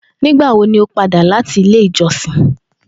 Nigbawo ni o pada wa lati ile ijọsin?